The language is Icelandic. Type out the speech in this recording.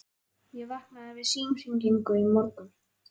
Ég vaknaði við símhringingu í morgun.